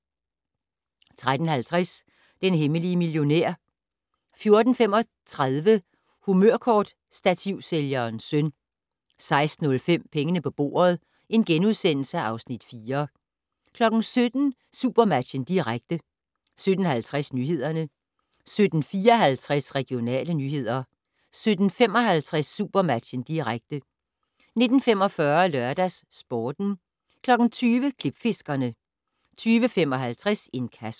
13:50: Den hemmelige millionær 14:35: Humørkortstativsælgerens søn 16:05: Pengene på bordet (Afs. 4)* 17:00: SuperMatchen, direkte 17:50: Nyhederne 17:54: Regionale nyheder 17:55: SuperMatchen, direkte 19:45: LørdagsSporten 20:00: Klipfiskerne 20:55: Inkasso